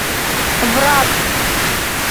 враг